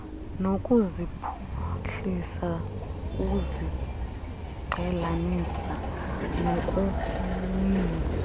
nokuziphuhlisa uziqhelanisa nokuninzi